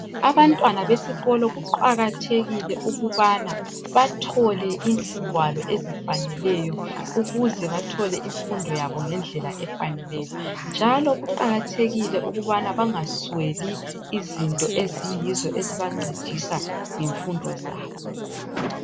Abantwana besikolo kuqakathekile ukubana bathole izingwalo ezifaneleyo ukuze bathole imfundo yabo ngendlela efaneleyo. Njalo kuqakathekile ukubana bangasweli izinto eziyizo ezibancedisa ngemfundo zabo.